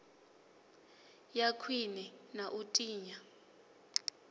ya khwine na u tinya